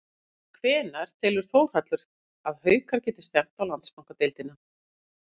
En hvenær telur Þórhallur að Haukar geti stefnt á Landsbankadeildina?